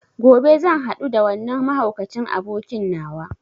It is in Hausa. Gobe zan hadu da wannan mahaukacin abokin nawa.